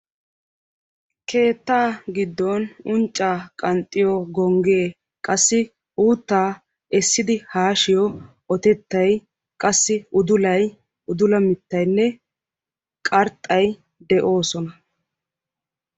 keetta giddon uncca qanxxiyoo gongge qassi utta essidi haashshiyo ottetay, udullay, udulla-mittayinne qarxxay de'oossona.